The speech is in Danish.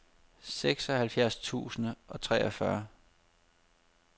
seksoghalvfjerds tusind og treogfyrre